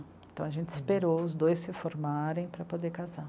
Então a gente esperou os dois se formarem para poder casar.